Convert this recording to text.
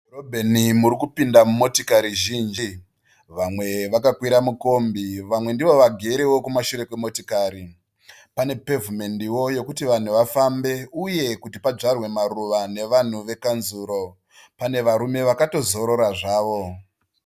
Mudhorobheni muri kupinda motikari zhinji. Vamwe vakakwira mukombi vamwe ndivo vagerewo kumashure kwemotikari. Pane pevhimendi yekuti vanhu vafambe uya kuti padyarwe maruva nekanzuru. Pane varume vakatozorora zvavo.